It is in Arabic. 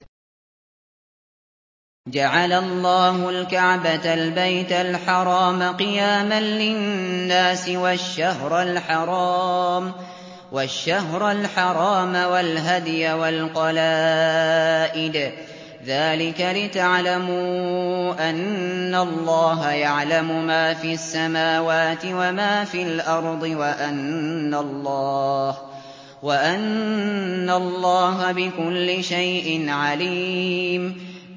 ۞ جَعَلَ اللَّهُ الْكَعْبَةَ الْبَيْتَ الْحَرَامَ قِيَامًا لِّلنَّاسِ وَالشَّهْرَ الْحَرَامَ وَالْهَدْيَ وَالْقَلَائِدَ ۚ ذَٰلِكَ لِتَعْلَمُوا أَنَّ اللَّهَ يَعْلَمُ مَا فِي السَّمَاوَاتِ وَمَا فِي الْأَرْضِ وَأَنَّ اللَّهَ بِكُلِّ شَيْءٍ عَلِيمٌ